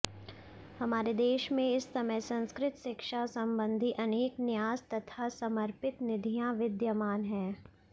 हमारे देश में इस समय संस्कृत शिक्षा संबंधी अनेक न्यास तथा समर्पित निधियां विद्यमान हैं